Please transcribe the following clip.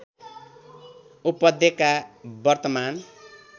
उपत्यका वर्तमान